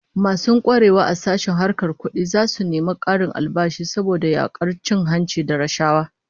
Masu kwarewa a sashen harkar kudi zasu nemi karin albashi saboda yakar cin hanci da rashawa